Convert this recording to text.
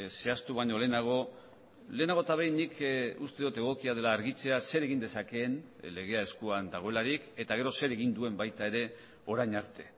zehaztu baino lehenago lehenago eta behin nik uste dut egokia dela argitzea zer egin dezakeen legea eskuan dagoelarik eta gero zer egin duen baita ere orain arte